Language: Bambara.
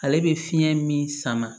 Ale bɛ fiɲɛ min sama